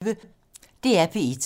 DR P1